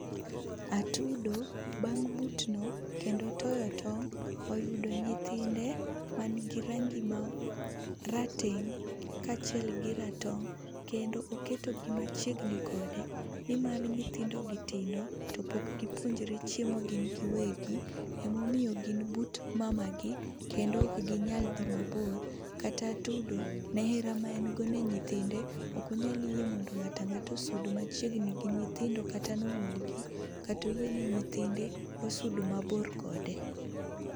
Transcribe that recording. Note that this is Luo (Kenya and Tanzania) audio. Atudo bang' butno kendo toyo tong', oyudo nyithinde man gi range ma rateng' kaachiel gi ratong' kendo oketogi machiegni kode nimar nyithindogi tindo to pok gipuonjore chiemo gin giwegi. Emomiyo gin but mamagi kendo ok ginyal dhi mabor. Kata atudo ne hera maen go ni nyithinde, ok onyal yie mondo ng'ato ang'ata osud machiegni gi nyithindo kata nomulgi kata oyie ni nyithinde osud mabor kode.